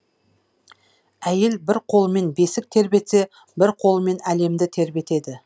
әйел бір қолымен бесік тербетсе бір қолымен әлемді тербетеді